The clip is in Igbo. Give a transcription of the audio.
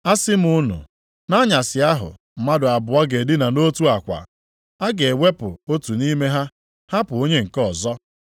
Asị m unu, nʼanyasị ahụ mmadụ abụọ ga-edina nʼotu akwa, a ga-ewepụ otu nʼime ha hapụ onye nke ọzọ.